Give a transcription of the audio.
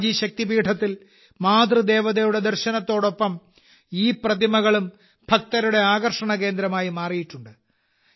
അംബാജി ശക്തിപീഠത്തിൽ മാതൃദേവതയുടെ ദർശനത്തോടൊപ്പം ഈ പ്രതിമകളും ഭക്തരുടെ ആകർഷണ കേന്ദ്രമായി മാറിയിട്ടുണ്ട്